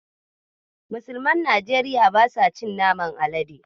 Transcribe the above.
Musulmin Nigeria ba sa cin naman Alade.